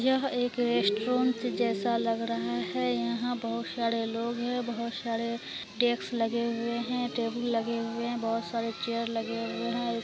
यह एक रेस्टुरेंट जैसा लग रहा हैं यहाँ बहुत सारा लोग हैं बहुत सारे टेस्क लगे हुए हैं टेबुल लगे हुए बहुत सारे चेयर लगे हुए हैं।